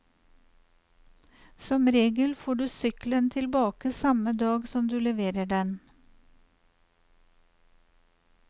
Som regel får du sykkelen tilbake samme dag som du leverer den.